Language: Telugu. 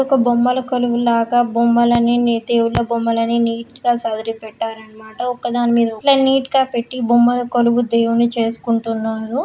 ఒక బొమ్మల కొలువు లాగా బొమ్మలు అన్నీ దేవుళ్ళ బొమ్మలన్నీ నీట్ గా సదిరి పెట్టారు అన్నమాట. ఒకదాని మెడ ఒకటి ఇట్లా నీట్ గా పెట్టి బొమ్మలకొలువు దేవుణ్ణి చేసుకుంటున్నారు.